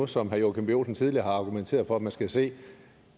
som herre joachim b olsen tidligere har argumenteret for at man skal se